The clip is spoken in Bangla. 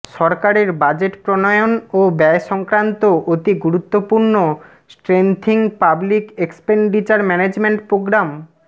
সরকারের বাজেট প্রণয়ন ও ব্যয় সংক্রান্ত অতি গুরুত্বপূর্ণ strengthening public expenditure management programme